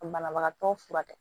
Ka banabagatɔ furakɛ